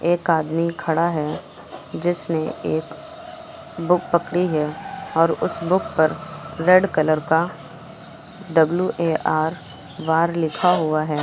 एक आदमी खड़ा है जिसने एक बुक पकड़ी है और उस बुक पर रेड कलर का डब्ल्यू_ए_आर वार लिखा हुआ है।